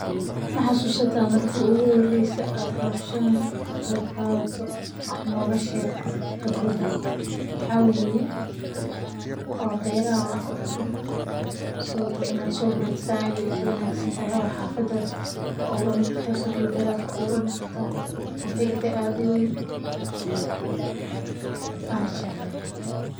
Ma xasusataa markii ugu horreysay ee aad hawshan kaqebqadhatit wax nooga sheeg kibradaada maxaa weye waberaha laawuro sidhokale inaad so baratit saade ugu wanagsantahay, oo xafada kuawurani kartaa, sidhokale beraha kuaawurani kartaa, o faidha aad uweyn wana jeclehee.